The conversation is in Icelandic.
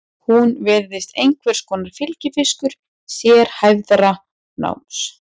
Hún virðist einhvers konar fylgifiskur sérhæfðara náms.